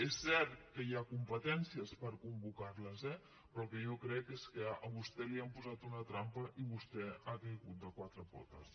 és cert que hi ha competències per convocarles eh però el que jo crec és que a vostè li han posat una trampa i vostè ha caigut de quatre potes